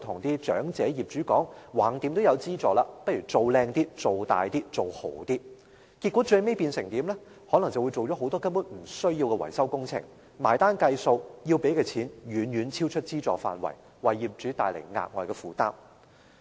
結果，業主可能就會同意進行很多不必要的維修工程，最後到結帳的時候才發覺，需要支付的金額遠遠超出資助額，為業主帶來額外負擔。